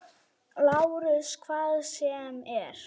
LÁRUS: Hvað sem er.